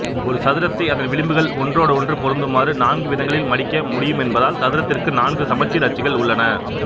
ஒரு சதுரத்தை அதன் விளிம்புகள் ஒன்றோடொன்று பொருந்துமாறு நான்குவிதங்களில் மடிக்க முடியுமென்பதால் சதுரத்திற்கு நான்கு சமச்சீர் அச்சுகள் உள்ளன